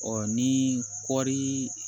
Ɔ ni kɔɔri